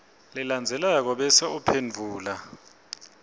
lelandzelako bese uphendvula